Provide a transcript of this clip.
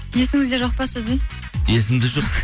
есіңізде жоқ па сіздің есімде жоқ